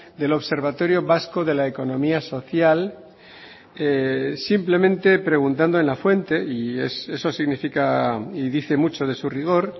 del observatorio vasco de la economía social simplemente preguntando en la fuente y eso significa y dice mucho de su rigor